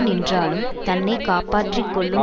நின்றாலும் தன்னை காப்பாற்றி கொள்ளும்